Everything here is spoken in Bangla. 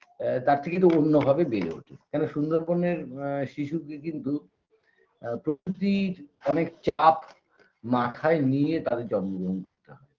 এ তার থেকে কিন্তু অন্যভাবে বেড়ে ওঠে কেন সুন্দরবনের আ শিশুকে কিন্তু আ প্রকৃতির অনেক চাপ মাথায় নিয়ে তাদের জন্মগ্রহণ করতে হয়